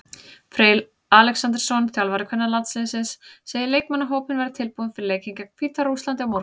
Freyr Alexandersson, þjálfari kvennalandsliðsins, segir leikmannahópinn vera tilbúinn fyrir leikinn gegn Hvíta-Rússlandi á morgun.